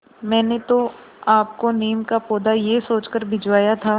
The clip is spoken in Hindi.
मैंने तो आपको नीम का पौधा यह सोचकर भिजवाया था